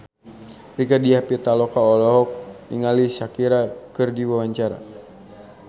Rieke Diah Pitaloka olohok ningali Shakira keur diwawancara